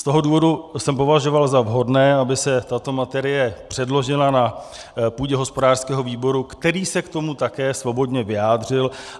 Z toho důvodu jsem považoval za vhodné, aby se tato materie předložila na půdě hospodářského výboru, který se k tomu také svobodně vyjádřil.